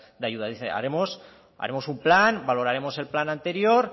de ayudas dicen haremos un plan valoraremos el plan anterior